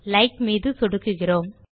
like மீது சொடுக்குகிறோம்